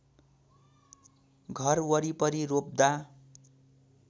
घर वरिपरि रोप्दा